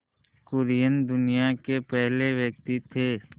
कुरियन दुनिया के पहले व्यक्ति थे